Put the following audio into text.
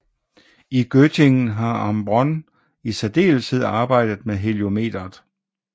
I Göttingen har Ambronn i særdeleshed arbejdet med heliometeret